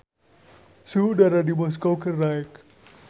Suhu udara di Moskow keur naek